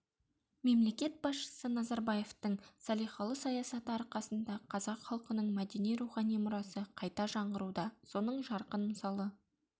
мемлекет басшысы назарбаевтың салиқалы саясаты арқасында қазақ халқының мәдени рухани мұрасы қайта жаңғыруда соның жарқын мысалы